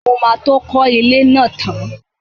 Mo máa tó kọ́ ilé náà tán.